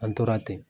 An tora ten